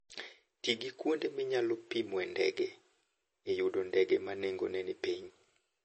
Ti gi kuonde minyalo pimoe ndege e yudo ndege ma nengogi ni piny.